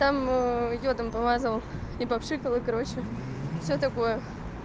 там йодом помазала и по пшикала короче всё такое